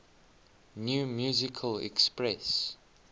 new musical express